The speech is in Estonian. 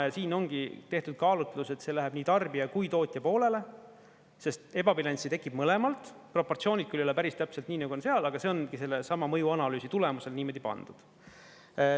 Ja siin ongi tehtud kaalutlus, et see läheb nii tarbija kui tootja poolele, sest ebabilanssi tekib mõlemalt, proportsioonid küll ei ole päris täpselt nii, nagu on seal, aga see ongi sellesama mõjuanalüüsi tulemusel niimoodi pandud.